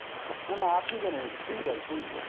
না না আপনি কেন? তুই বল তুই